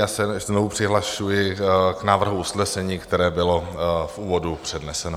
Já se znovu přihlašuji k návrhu usnesení, které bylo v úvodu předneseno.